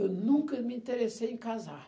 Eu nunca me interessei em casar.